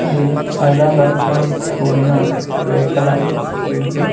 అది ఐరన్ రాడ్ల తో కూడిన గ్రే కలర్ షెడ్డు .